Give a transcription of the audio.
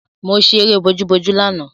Mo ṣẹ eré bojúbojú lánàá